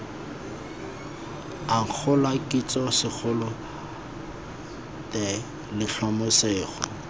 akgola kitso segolo the letlhomeso